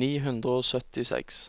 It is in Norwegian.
ni hundre og syttiseks